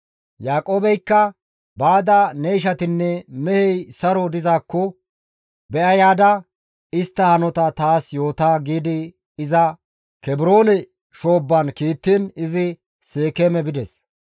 Yaaqoobeykka, «Baada ne ishatinne mehey saro dizaakko be7a yaada istta hanota taas yoota» giidi iza Kebroone shoobba kiittiin izi Seekeeme bides.